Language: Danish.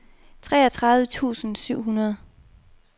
treogtredive tusind syv hundrede